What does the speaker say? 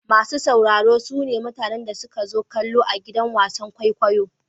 Masu sauraro su ne mutanen da suka zo kallo a gidan wasan kwaikwayo.